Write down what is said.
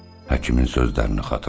Həkimin sözlərini xatırladı.